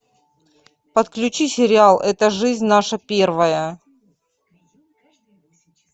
подключи сериал это жизнь наша первая